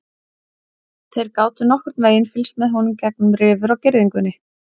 Þeir gátu nokkurn veginn fylgst með honum gegnum rifur á girðingunni.